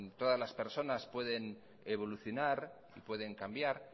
todas las personas pueden evolucionar y pueden cambiar